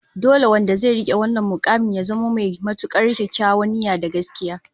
Dole wanda zai rike wannan mukamin ya zamo mai matukar kyakkyawar niyya da gaskiya